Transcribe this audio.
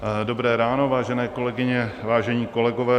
Dobré ráno, vážené kolegyně, vážení kolegové.